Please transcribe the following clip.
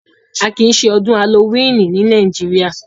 À kí ìṣẹ̀ Odùn Halloweeni ní Nàìjíríà